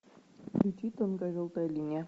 включи тонкая желтая линия